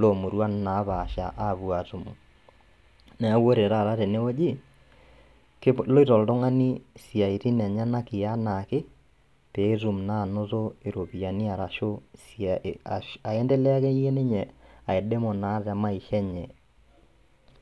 loomuruan naapaasha apuo atumo. Neaku ore tata tenewueji keloito oltung'ani siaitin enyanak eanaake peetum naanoto iropiani arashu sia eh ashu aendelea akeyie ninye aidimu naa te maisha enye.